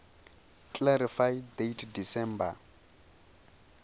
clarify date december